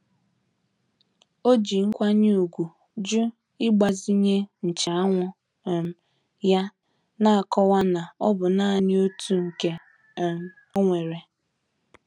O ji nkwanye ùgwù jụ ịgbazinye nche anwụ um ya, na-akọwa na ọ bụ naanị otu nke um onwere.